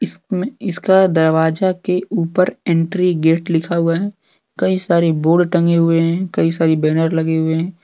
इसमें इसका दरवाजा के ऊपर एंट्री गेट लिखा हुआ है कई सारे बोर्ड टंगे हुए हैं कई सारी बैनर लगे हुए हैं।